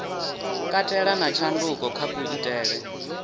katela na tshanduko kha kuitele